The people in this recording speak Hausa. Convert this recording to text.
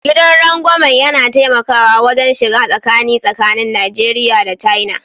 Gidan rangwamen yana taimakawa wajen shiga tsakani tsakanin Najeriya da China